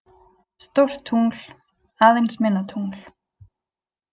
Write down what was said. Stórt tungl, aðeins minna tungl